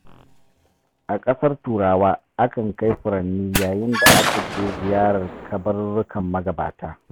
A ƙasar turawa akan kai furanni yayin da aka je ziyarar kabarurrukan magabata